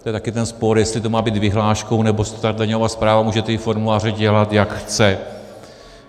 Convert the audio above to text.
To je také ten spor, jestli to má být vyhláškou, nebo si daňová správa může ty formuláře dělat, jak chce.